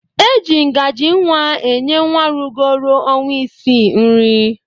E ji ngajii nwa enye nwa rugoro ọnwa ịsịị nri.